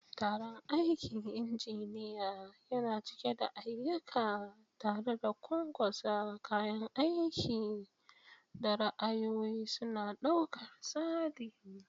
Taron aikin injiniya yana cike da ayyuka, tare da ƙwanƙwasa kayan aiki da ra'ayoyi suna ɗaukar tsari.